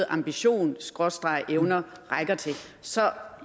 ambitionerevner rækker til så